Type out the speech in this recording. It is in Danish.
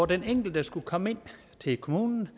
den enkelte skulle komme ind til kommunen